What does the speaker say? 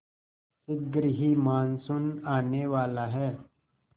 शीघ्र ही मानसून आने वाला है